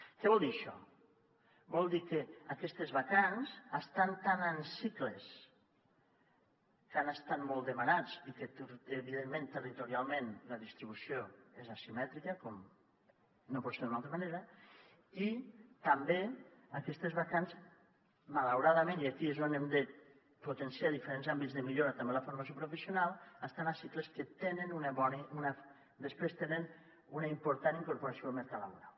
què vol dir això vol dir que aquestes vacants estan tant en cicles que han estat molt demanats i evidentment territorialment la distribució és asimètrica com no pot ser d’una altra manera i també que aquestes vacants malauradament i aquí és on hem de potenciar diferents àmbits de millora també en la formació professional estan a cicles que després tenen una important incorporació al mercat laboral